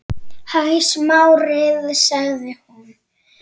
Hæ, Smári- sagði hún.